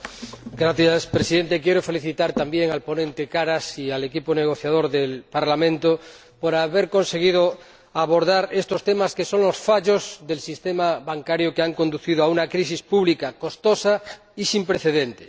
Señor Presidente, quiero felicitar también al ponente, señor Karas, y al equipo negociador del Parlamento por haber conseguido abordar estos temas, que son los fallos del sistema bancario que han conducido a una crisis pública, costosa y sin precedentes.